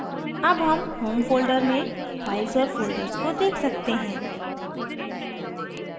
अब home home folder में files और folders को देख सकते हैं